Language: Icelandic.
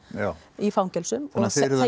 í fangelsum þannig að þið eruð að